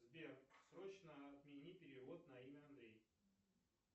сбер срочно отмени перевод на имя андрей